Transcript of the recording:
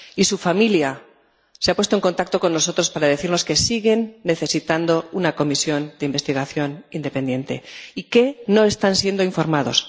Y su familia se ha puesto en contacto con nosotros para decirnos que siguen necesitando una comisión de investigación independiente y que no están siendo informados.